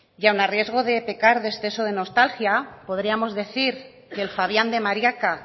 y aun a riesgo de pecar de exceso de nostalgia podríamos decir que el fabián de mariaca